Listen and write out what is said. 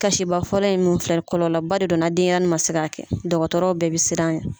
Kasiba fɔlɔ ye min filɛ, kɔlɔlɔba de donna denyɛrɛnin ma se a kɛ, dɔgɔtɔrɔ bɛɛ bɛ siran a ɲɛ.